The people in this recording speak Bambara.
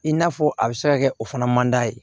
I n'a fɔ a bɛ se ka kɛ o fana man d'a ye